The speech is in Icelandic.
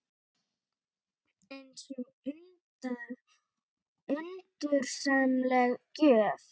Eins og undursamleg gjöf.